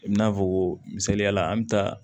I n'a fɔ misaliyala an bɛ taa